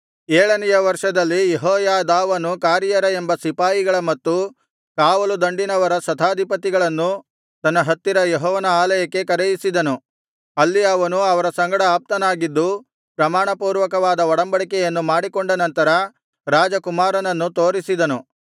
ಏಳನೆಯ ವರ್ಷದಲ್ಲಿ ಯೆಹೋಯಾದಾವನು ಕಾರಿಯರ ಎಂಬ ಸಿಪಾಯಿಗಳ ಮತ್ತು ಕಾವಲುದಂಡಿನವರ ಶತಾಧಿಪತಿಗಳನ್ನು ತನ್ನ ಹತ್ತಿರ ಯೆಹೋವನ ಆಲಯಕ್ಕೆ ಕರೆಯಿಸಿದನು ಅಲ್ಲಿ ಅವನು ಅವರ ಸಂಗಡ ಆಪ್ತನಾಗಿದ್ದು ಪ್ರಮಾಣಪೂರ್ವಕವಾದ ಒಡಂಬಡಿಕೆಯನ್ನು ಮಾಡಿಕೊಂಡ ನಂತರ ರಾಜಕುಮಾರನನ್ನು ತೋರಿಸಿದನು